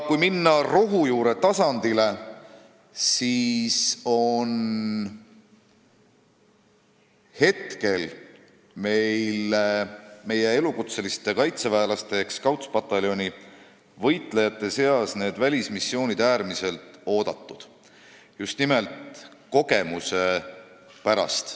Kui minna rohujuure tasandile, siis meie elukutseliste kaitseväelaste ehk Scoutspataljoni võitlejate seas on need välismissioonid äärmiselt oodatud, just nimelt kogemuste saamise pärast.